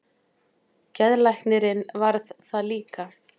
Geðlæknirinn varð það líka.